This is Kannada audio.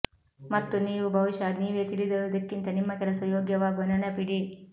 ಮತ್ತು ನೀವು ಬಹುಶಃ ನೀವೇ ತಿಳಿದಿರುವುದಕ್ಕಿಂತ ನಿಮ್ಮ ಕೆಲಸ ಯೋಗ್ಯವಾಗುವ ನೆನಪಿಡಿ